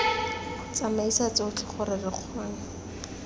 tsamaisa tsotlhe gore lo kgone